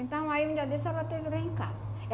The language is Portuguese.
Então, aí um dia desse ela esteve lá em casa.